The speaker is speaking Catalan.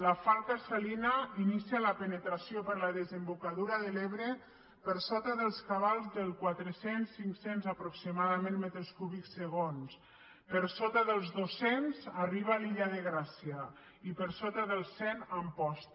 la falca salina inicia la penetració per la desembocadura de l’ebre per sota dels cabals dels quatre cents cinc cents aproximadament metres cúbics segon per sota dels dos cents arriba a l’illa de gràcia i per sota dels cent a amposta